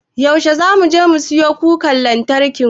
Yaushe zamu siyo kukar lantarkin?